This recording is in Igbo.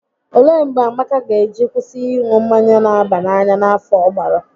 Olee mgbe Amaka ga eji kwụsị ịṅụ mmanya n'aba n'anya n'afọ ọ gbara?